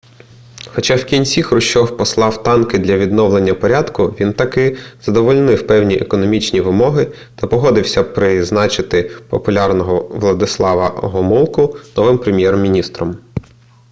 хоча в кінці хрущов послав танки для відновлення порядку він таки задовольнив певні економічні вимоги та погодився призначити популярного владислава гомулку новим прем'єр-міністром